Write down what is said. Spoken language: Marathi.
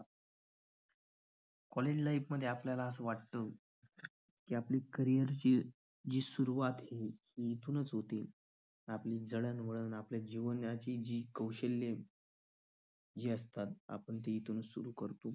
college life मध्ये आपल्याला वाटतं कि आपण carrier ची जी सुरुवात तिथूनच होते. आपल्या जीवनातील जी कौशल्य आहेत आपण जिथून सुरुवात करतो.